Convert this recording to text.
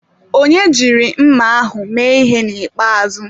Onye jiri mma ahụ mee ihe na ikpeazụ.